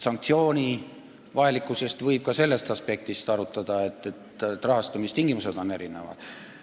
Sanktsiooni vajalikkust võib ka sellest aspektist arutada, et rahastamistingimused on erinevad.